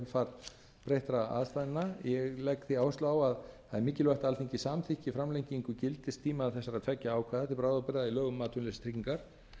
kjölfar breyttra ástæðna ég legg því áherslu á að það er mikilvægt að alþingi samþykki framlengingu gildistíma þessara tveggja ákvæða til bráðabirgða í lögum um atvinnuleysistryggingar